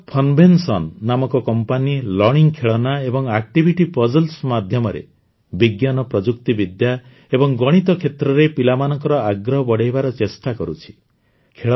ପୁନାର Funvention ନାମକ company learning ଖେଳନା ଏବଂ ଆକ୍ଟିଭିଟି ପଜଲ୍ସ ମାଧ୍ୟମରେ ବିଜ୍ଞାନ ପ୍ରଯୁକ୍ତିବିଦ୍ୟା ଏବଂ ଗଣିତ କ୍ଷେତ୍ରରେ ପିଲାମାନଙ୍କର ଆଗ୍ରହ ବଢ଼ାଇବାର ଚେଷ୍ଟା କରୁଛି